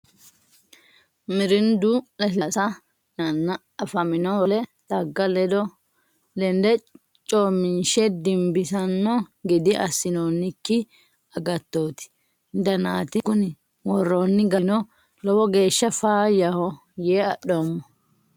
Mirndu lasilasa yinenna afamino wole xagga lende coominshe dimbisano gede assinonikki agattote danati kuni worooni garino lowo geeshsha faayyaho yee adhoommo.